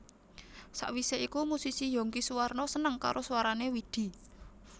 Sawise iku musisi Younky Soewarno seneng karo swarané Widi